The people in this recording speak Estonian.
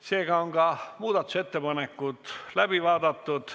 Seega on ka muudatusettepanekud läbi vaadatud.